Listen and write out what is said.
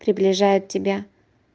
приближает тебя